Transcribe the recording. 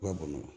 U ka bɔn nɔn